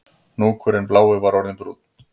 Hnúkurinn blái var orðinn brúnn